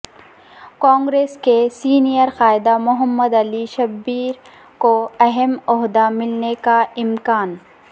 کانگریس کے سینئر قائد محمد علی شبیر کو اہم عہدہ ملنے کا امکان